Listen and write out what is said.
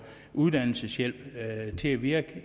uddannelseshjælp til at virke